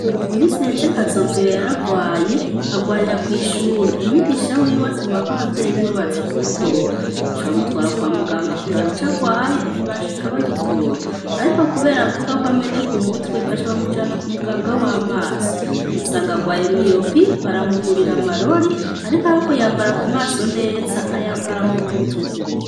Mu misi heze kazoviyo yaragwaye barwarira kw'ishuri umwigisha wiwe atuma ko abavyeyi biwe baza kumutora bashabamutwara kwa muganga kuraba ico arwaye ntibashika bagitora, ariko, kubera avuga ko amene ku mutwe bashabamujana ku muganga w'amaso basanga agwaye miyopi baramugurira amarori, ariko abokuyambara w u maso neza ayambara mu mutwe.